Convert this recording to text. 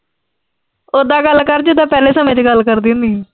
ਉਦਾਂ ਗੱਲ ਕਰ ਜਿਦਾਂ ਪਹਿਲੇ ਸਮੇਂ ਚ ਗੱਲ ਕਰਦੀ ਹੁੰਨੀ ਆਂ।